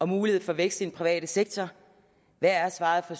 mulighed for vækst i den private sektor hvad er svaret fra